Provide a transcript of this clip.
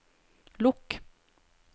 lukk